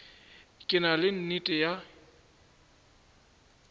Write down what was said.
ke na le nnete ya